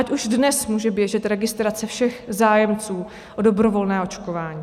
Ať už dnes může běžet registrace všech zájemců o dobrovolné očkování.